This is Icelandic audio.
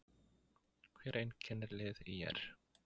Hvað einkennir lið ÍR?